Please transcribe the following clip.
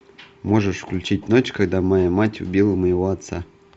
можешь включить ночь когда моя мать убила моего отца